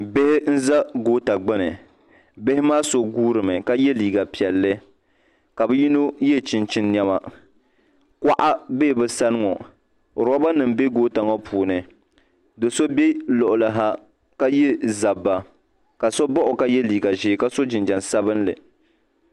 nihi n za goota gbani bihi so gorimi ka yɛ liga piɛlli ka be.yino yɛ chɛnichɛni nɛma koɣ'bɛ be sani ŋɔ robanim bɛ kota ŋɔ puuni do so bɛ koɣili ha ka yɛ zaba ka so baɣ' o ka y. liga sabinli